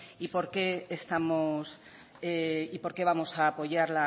y por qué vamos apoyar